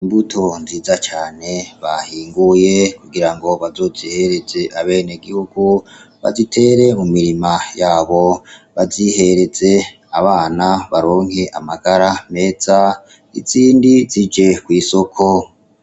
Imbuto nziza cane bahinguye kugira ngo bazozihereze abene gihugu bazitere mu mirima yabo bazihereze abana baronke amagara meza izindi zije kw'isoko.